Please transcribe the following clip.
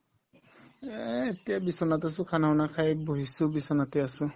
এই এতিয়া বিচনাত আছো khana banana খায়ে বহিছো বিচনাতে আছো